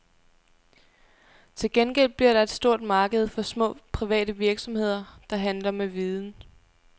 Til gengæld bliver der et stort marked for små private virksomheder, der handler med viden.